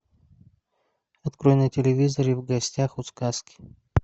открой на телевизоре в гостях у сказки